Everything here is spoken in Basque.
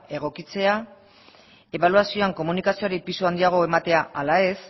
egokitzea ebaluazioan komunikazioari pisu handiagoa ematea ala ez